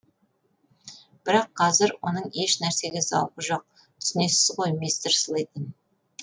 бірақ қазір оның ешнәрсеге зауқы жоқ түсінесіз ғой мистер слейтон